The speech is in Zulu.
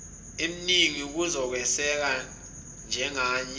emningi yokweseka yenganyelwe